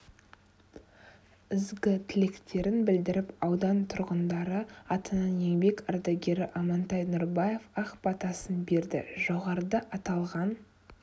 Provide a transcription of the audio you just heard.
ізгі тілектерін білдіріп аудан тұрғындары атынан еңбек ардагері амантай нұрбаев ақ батасын берді жоғарыда аталған